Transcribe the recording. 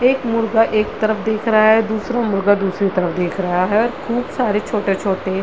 एक मुर्गा एक तरफ देख रहा है दूसरा मुर्गा दूसरे तरफ दिख रहा है खूब सारे छोटे-छोटे--